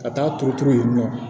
Ka taa turu turu yen nɔ